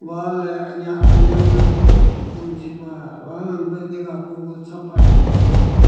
wall heh aniya-aniya beh dong gii pah wall ham beh niga pogu sapah dongi doh.